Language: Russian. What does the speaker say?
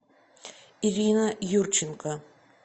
ирина юрченко